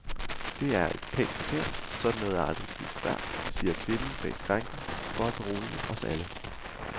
Det er et pænt kvarter, sådan noget er aldrig sket før, siger kvinden bag skranken for at berolige os alle.